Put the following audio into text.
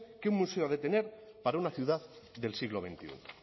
que un museo ha de tener para una ciudad del siglo veintiuno